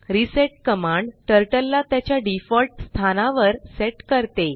reset command turtle ला त्याच्या default स्थानावर सेट करते